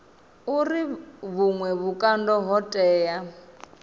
uri vhuṅwe vhukando ho tea